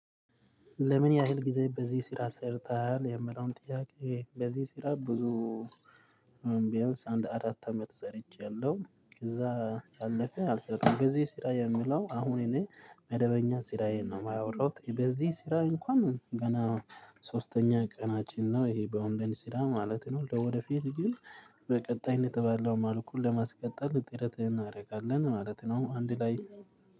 ለምን ያህል ጊዜ በዚህ ስራ ሰርተሃል? የሚለውን ጥያቄ በዚህ ስራ ብዙ ቢያንስ አንድ አራት አመት ሰርቼያለሁ ከዛ ያለፈ አልሰራሁም በዚ ስራ የምለው አሁን እኔ መደበኛ ስራዬን ነው የማያወራው በዚህ ስራ እንኳን ገና ሶስተኛ ቀናችን ነው ይሄ በኦላይን ስራ ማለት ነው ወደፊት ግን በቀጣይነት ባለው መልኩ ለማስቀጠል ጥረትህን እናደርጋለን ማለት ነው አንድ ላይ